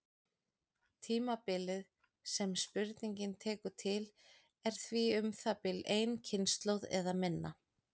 Tímabilið sem spurningin tekur til er því um það bil ein kynslóð eða minna.